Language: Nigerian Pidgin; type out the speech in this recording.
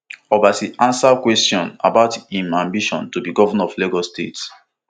obasa answer kwesion about im ambition to be governor of lagos state